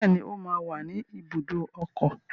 Bẹ́ẹ̀ni, ó máa wà ní ibùdó ọkọ̀.